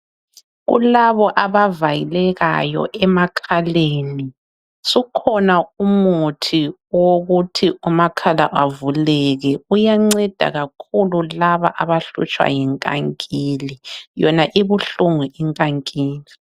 Kulabo abavalekayo emakhaleni sukhona umuthi owokuthi amakhala avuleke uyanceda kakhulu laba abahlutshwa yinkankila yona ibuhlungu inkankila.